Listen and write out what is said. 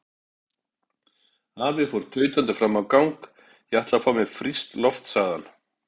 Afi fór tautandi fram í gang: Ég ætla að fá mér frískt loft sagði hann.